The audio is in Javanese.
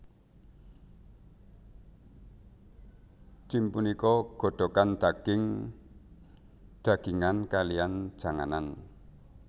Jjim punika godhogan daging dagingan kalihan janganan